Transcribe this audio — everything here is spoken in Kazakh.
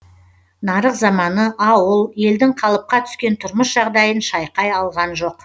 нарық заманы ауыл елдің қалыпқа түскен тұрмыс жағдайын шайқай алған жоқ